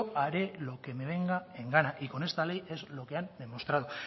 haré lo que me venga en gana y con esta ley es lo que han demostrado